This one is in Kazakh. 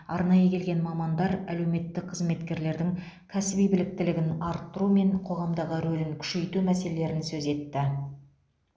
арнайы келген мамандар әлеуметтік қызметкерлердің кәсіби біліктілігін арттыру мен қоғамдағы рөлін күшейту мәселелерін сөз етті